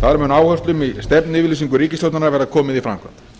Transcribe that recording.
þar mun áherslum í stefnuyfirlýsingu ríkisstjórnarinnar verða komið í framkvæmd